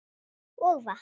Og vatn.